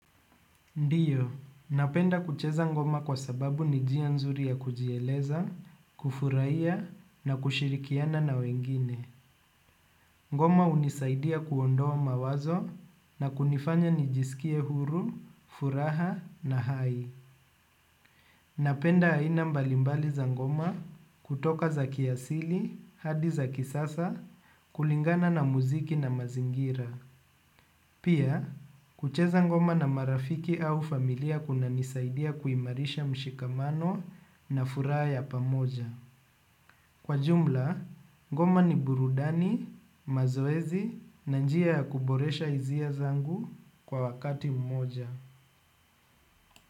Ndio, napenda kucheza ngoma kwa sababu ni jia nzuri ya kujieleza, kufurahia, na kushirikiana na wengine. Ngoma hunisaidia kuondoa mawazo na kunifanya nijisikie huru, furaha na hai. Napenda aina mbalimbali za ngoma, kutoka za kiasili, hadi za kisasa, kulingana na muziki na mazingira. Pia, kucheza ngoma na marafiki au familia kuna nisaidia kuimarisha mshikamano na furaha ya pamoja. Kwa jumla, ngoma ni burudani, mazoezi na njia ya kuboresha hizia zangu kwa wakati mmoja.